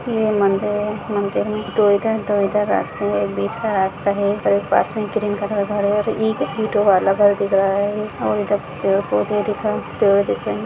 ये मंदिर है मंदिर मे दो इधर-दो इधर रास्ते है एक बीच का रास्ता है और पास मे एक ग्रीन कलर का घर है और एक ईटों का अलग घर दिख रहा है और इधर पेड़ पोदहे दिख रहे है पेड़ दिख रहे हैं।